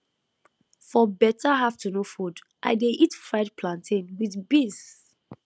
for better afternoon food i dey eat fried plantain with beans